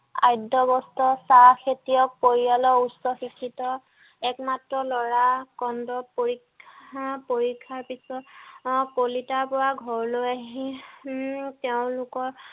আধ্য অবস্থা চাহ খেতিয়ক পৰিয়ালৰ উচ্চ শিক্ষিত একমাত্ৰ ল'ৰা খণ্ড পৰিক্ষা পৰিক্ষাৰ পিছত কলিতাৰ পৰা ঘৰলৈ আহি উম তেওঁ লোকৰ